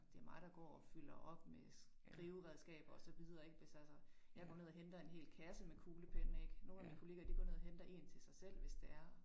Det mig der går og fylder op med skriveredskaber og så videre ik hvis altså jeg går ned og henter en hel kasse med kuglepenne ik nogle af min kollegaer de går ned og henter én til sig selv, hvis det er